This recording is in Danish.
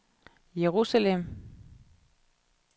Jerusalem